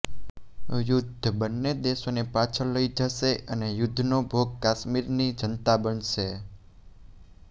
યુદ્ધ બન્ને દેશોને પાછળ લઈ જશે અને યુદ્ધનો ભોગ કાશ્મીરની જનતા બનશે